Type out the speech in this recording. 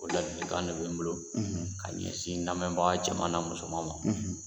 O ladilikan de bɛ n bolo ka ɲɛsin n lamɛnkɛbaga cɛman na musoman ma